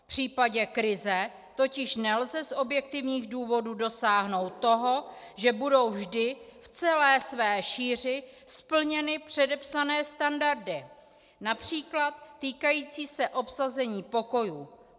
V případě krize totiž nelze z objektivních důvodů dosáhnout toho, že budou vždy v celé své šíři splněny předepsané standardy například týkající se obsazení pokojů.